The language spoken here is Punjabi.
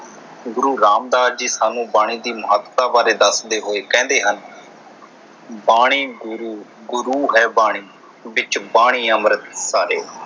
ਗੁਰੂ ਰਾਮਦਾਸ ਦੀ ਸਾਨੂੰ ਬਾਣੀ ਦੀ ਮਹੱਤਤਾ ਬਾਰੇ ਦੱਸਦੇ ਹੋਏ ਕਹਿੰਦੇ ਹਨ ਬਾਣੀ ਗੁਰੂ ਗੁਰੂ ਹੈ ਬਾਣੀ ਵਿਚ ਬਾਣੀ ਅੰਮ੍ਰਿਤ ਸਾਰੇ